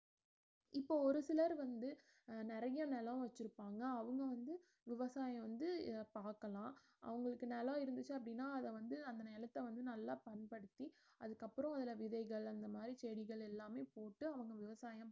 இப்ப ஒருசிலர் வந்து அஹ் நெறைய நிலம் வெச்சுருப்பாங்க அவங்க வந்து விவசாயம் வந்து பார்க்கலாம் அவங்களுக்கு நிலம் இருந்துச்சு அப்படினா அத வந்து நிலத்தை வந்து நல்லா பயன்படுத்தி அதுக்கப்றோம் வர விதைகள் அந்த மாறி செடிகள் எல்லாமே போட்டு அவங்க விவசாயம்